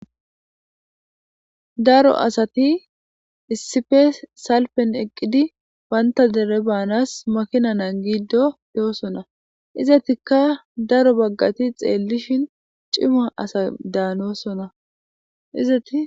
daro asati issife salpen eqqidi baynta dere baanas makinana giido doosona izatikka daro baggati xeellishin cima asa daanoosonna izati